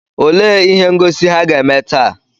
Olee ihe ngosi ha ga-eme taa?